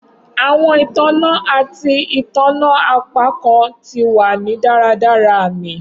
Awọn itanna ati itanna apakan ti wa ni daradara aami